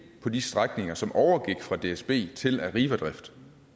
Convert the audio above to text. på de strækninger som overgik fra dsb til arrivadrift